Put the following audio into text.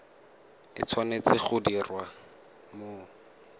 e tshwanetse go diriwa mo